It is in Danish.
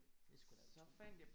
Det er sgu da utroligt